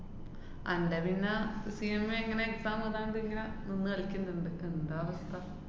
അന്‍റെ പിന്നെ CMA ഇങ്ങനെ exam എയ്താണ്ട് ഇങ്ങനെ നിന്ന് കളിക്ക്ന്ന്ണ്ട്. എന്താ അവസ്ഥ?